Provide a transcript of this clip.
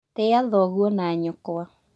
Tĩa thoguo na nyũkwa